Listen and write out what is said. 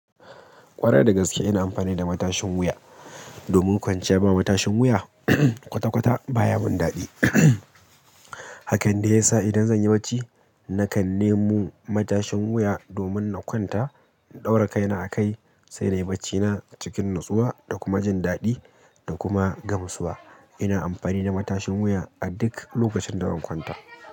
Ƙwarai dagaske ina amfani da matashin wuya. Domin kwanciya ba matashin wuya kwata-kwata baya min daɗi. Hakan dai ya sa idan zan yi barci nakan nemo matashin wuya domin na kwanta, in ɗaura kaina a kai, sai na yi barcina cikin natsuwa da kuma jin daɗi da kuma gamsuwa. Ina amfani da matashin wuya a duk lokacin da zan kwanta.